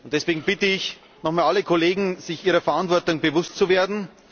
Deswegen bitte ich nochmals alle Kollegen, sich ihrer Verantwortung bewusst zu werden.